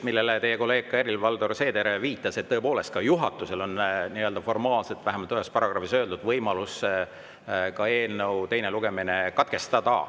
Nagu ka teie kolleeg Helir-Valdor Seeder viitas, tõepoolest, ka juhatusel on formaalselt – vähemalt on ühes paragrahvis seda öeldud – võimalus eelnõu teine lugemine katkestada.